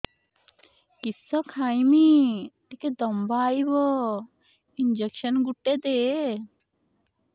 କିସ ଖାଇମି ଟିକେ ଦମ୍ଭ ଆଇବ ଇଞ୍ଜେକସନ ଗୁଟେ ଦେ